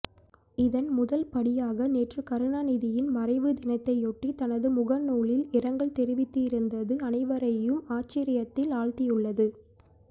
இதன் முதல் படியாக நேற்று கருணாநிதியின் மறைவு தினத்தையொட்டி தனது முகநூலில் இரங்கல் தெரிவித்திருந்தது அனைவரையும் ஆச்சரியத்தில் ஆழ்த்தியுள்ளது